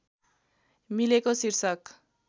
मिलेको शीर्षक